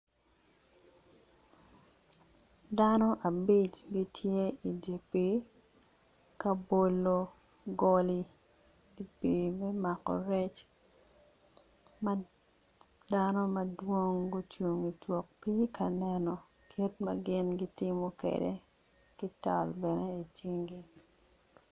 Dano abic gitye i pii ka bolo goli i pii me mako rec ma dano madwong gucung itwok pii ka neno kit ma gin gitimo kwede ki tal bene icinggi.